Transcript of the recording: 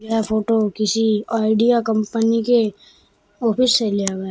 यह फोटो किसी Idea company के ऑफिस से लिया गया है।